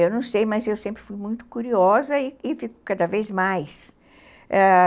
Eu não sei, mas eu sempre fui muito curiosa e fico cada vez mais, ãh...